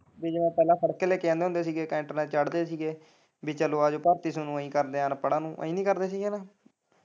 ਕਿ ਜਿਵੇਂ ਪਹਿਲਾਂ ਫੜ ਕੇ ਲੈ ਕੇ ਆਂਦੇ ਸੀ ਟੈਂਟ ਨਾਲ ਚੜਦੇ ਸੀਗੇ ਵੀ ਚੱਲ ਆਜੋ ਭਰਤੀ ਤੋਨੂੰ ਅਸੀਂ ਕਰਦੇ ਆ ਅਨਪੜਾਂ ਨੂੰ ਅਸੀਂ ਵੀ ਖੜਦੇ ਸੀ ਨਾ।